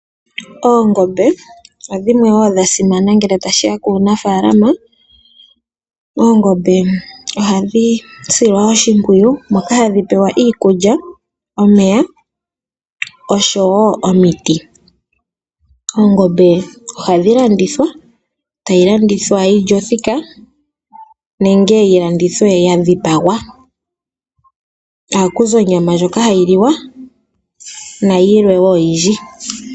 Oongombe odhasimana ngele tashiya kunafaalama. Ohadhi silwa oshimpwiyu moka hadhi pewa iikulya omeya oshowo omiti. Oongombe ohadhi landithwa dhili othika nenge yadhipagwa. Ohaku zi onyama ndjoka hayi liwa nayilwe.